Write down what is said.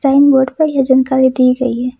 Sign board पर यह जानकारी दी गई है।